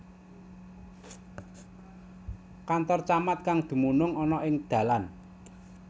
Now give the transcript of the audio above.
Kantor Camat kang dumunung ana ing dalan